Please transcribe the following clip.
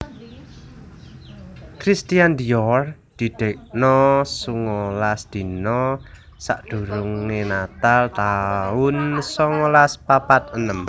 Christian Dior didekno songolas dina sakdurunge natal taun songolas papat enem